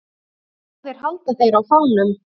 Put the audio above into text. Báðir halda þeir á fánum.